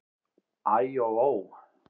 Æ og ó!